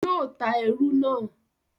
yóò ta ẹrù náà.